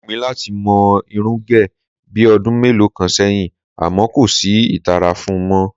Ó wù mí láti mo̩ irún gè̩ bí o̩dún mélòó kan sé̩yìn àmó̩ kò sí ìtara fun mó̩